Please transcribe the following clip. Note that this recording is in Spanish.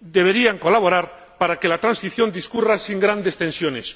deberían colaborar para que la transición discurriera sin grandes tensiones.